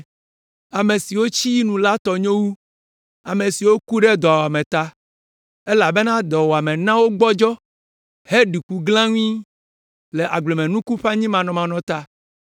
Ame siwo tsi yi nu la tɔ nyo wu ame siwo ku ɖe dɔwuame ta. Elabena dɔwuame na wogbɔdzɔ, heɖiku glãŋui, le agblemenuku ƒe anyimanɔmanɔ ta.